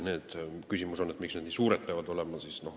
Küsimus on, miks need trahvid nii suured peavad olema.